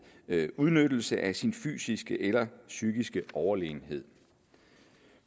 udnyttelse af sin fysiske eller psykiske overlegenhed